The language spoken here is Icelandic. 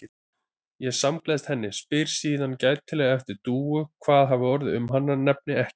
Ég samgleðst henni, spyr síðan gætilega eftir Dúu, hvað hafi orðið um hana, nefni ekki